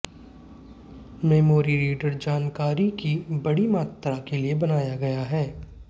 memory reader जानकारी की बड़ी मात्रा के लिए बनाया गया है